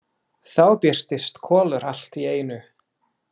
Þá birtist Kolur allt í einu.